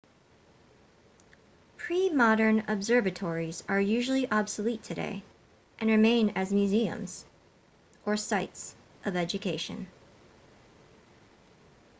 pre-modern observatories are usually obsolete today and remain as museums or sites of education